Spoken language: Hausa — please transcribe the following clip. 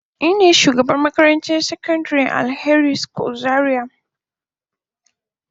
Nine shugabar makarantar Alheri secondary school zaria.